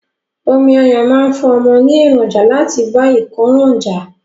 Omi ọyán máa fún ọmọ ní èròǹjà láti bá ìkóràn jà.